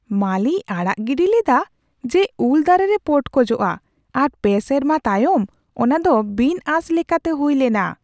ᱢᱟᱹᱞᱤᱭ ᱟᱲᱟᱜ ᱜᱤᱰᱤ ᱞᱮᱫᱟ ᱡᱮ ᱩᱞ ᱫᱟᱨᱮᱨᱮ ᱯᱚᱴᱠᱚᱡᱚᱜᱼᱟ, ᱟᱨ ᱯᱮ ᱥᱮᱨᱢᱟ ᱛᱟᱭᱚᱢ ᱚᱱᱟᱫᱚ ᱵᱤᱱᱼᱟᱸᱥ ᱞᱮᱠᱟᱛᱮ ᱦᱩᱭ ᱞᱮᱱᱟ ᱾